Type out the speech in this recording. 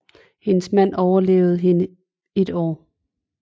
Hendes mand overlevede hende et år